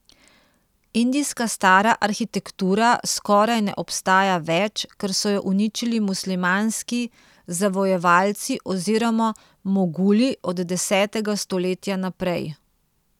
Indijska stara arhitektura skoraj ne obstaja več, ker so jo uničili muslimanski zavojevalci oziroma moguli od desetega stoletja naprej.